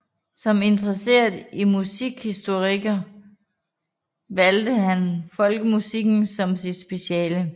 Som interesseret musikhistoriker valgte han folkemusikken som sit speciale